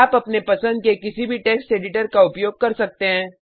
आप अपने पसंद के किसी भी टेक्स्ट एडिटर का उपयोग कर सकते हैं